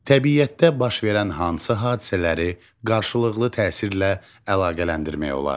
Təbiətdə baş verən hansı hadisələri qarşılıqlı təsirlə əlaqələndirmək olar?